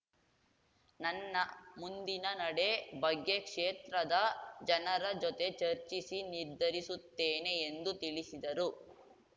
ನನ್ನ ಮುಂದಿನ ನಡೆ ಬಗ್ಗೆ ಕ್ಷೇತ್ರದ ಜನರ ಜೊತೆ ಚರ್ಚಿಸಿ ನಿರ್ಧರಿಸುತ್ತೇನೆ ಎಂದು ತಿಳಿಸಿದರು